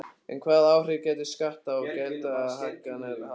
En hvaða áhrif gætu skatta- og gjaldahækkanir haft?